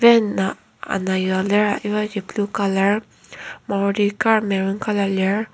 van a ana yua lir ibaji blue colour maruti car maron colour lir.